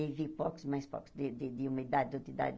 E vi porcos, mais porcos, de de uma idade, de outra idade